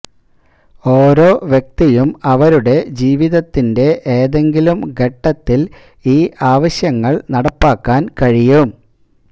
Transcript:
ഓരോ വ്യക്തിയും അവരുടെ ജീവിതത്തിന്റെ ഏതെങ്കിലും ഘട്ടത്തിൽ ഈ ആവശ്യങ്ങൾ നടപ്പാക്കാൻ കഴിയും